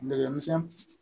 Nɛgɛmisɛn